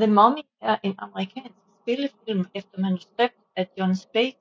The Mummy er en amerikansk spillefilm efter manuskript af Jon Spaihts